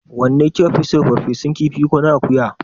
Wanne ki ka fi so, ferfesun kifi ko na akuya?